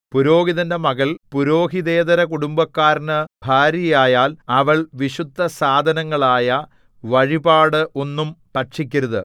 പുരോഹിതന്റെ മകൾ പുരോഹിതേതര കുടുംബക്കാരനു ഭാര്യയായാൽ അവൾ വിശുദ്ധസാധനങ്ങളായ വഴിപാട് ഒന്നും ഭക്ഷിക്കരുത്